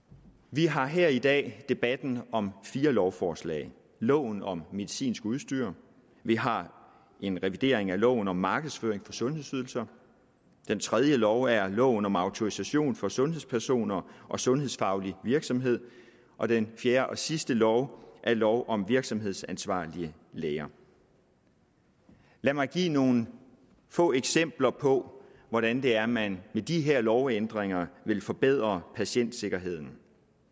vi har her i dag en debat om fire lovforslag loven om medicinsk udstyr vi har en revidering af loven om markedsføring af sundhedsydelser den tredje lov er loven om autorisation for sundhedspersoner og sundhedsfaglig virksomhed og den fjerde og sidste lov er lov om virksomhedsansvarlige læger lad mig give nogle få eksempler på hvordan det er at man med de her lovændringer vil forbedre patientsikkerheden